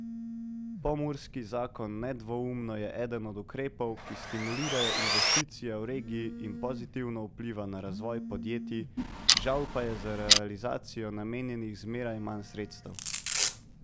Pomurski zakon nedvoumno je eden od ukrepov, ki stimulirajo investicije v regiji in pozitivno vpliva na razvoj podjetij, žal pa je za realizacijo namenjenih zmeraj manj sredstev.